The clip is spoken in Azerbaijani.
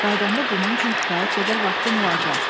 Qayıdanda bunun üçün kifayət qədər vaxtın olacaq.